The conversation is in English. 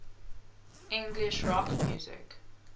english rock music